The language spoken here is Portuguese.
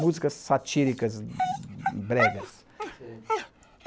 Músicas satíricas, bregas. Sei